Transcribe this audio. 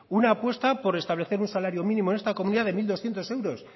una apuesta por establecer un salario mínimo en esta comunidad de mil doscientos euros